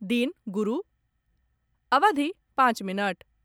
दिन गुरु, अवधि पाँच मिनट